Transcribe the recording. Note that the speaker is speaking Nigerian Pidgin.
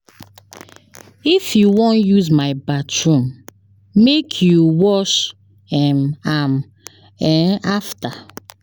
Dis toilet na my own, I no dey like as una dey enta am.